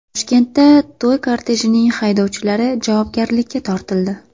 Toshkentda to‘y kortejining haydovchilari javobgarlikka tortildi.